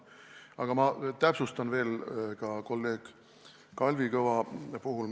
Aga ma täpsustan veel ka kolleeg Kalvi Kõva küsimuse vastust.